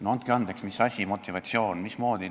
" No andke andeks, mis asi, mis motivatsioon, mismoodi?